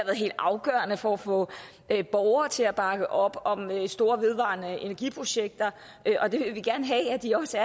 helt afgørende for at få borgere til at bakke op om store vedvarende energi projekter og det vil vi gerne have at de også